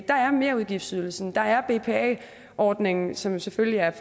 der er merudgiftsydelsen der er bpa ordningen som selvfølgelig er